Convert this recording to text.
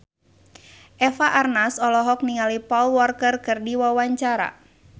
Eva Arnaz olohok ningali Paul Walker keur diwawancara